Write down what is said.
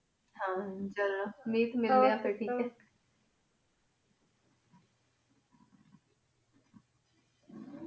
ਹਨ ਜੀ ਹੋਰ ਆਯ